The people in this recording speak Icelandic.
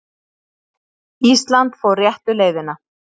Ísland fór réttu leiðina